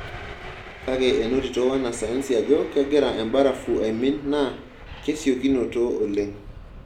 Kake enotito wanasayansi ajo kegira embarafu aimin naa kesiokinoto oleng.